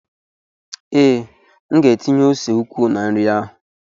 Ee, M ga-etinye ose ukwuu na nri ahụ.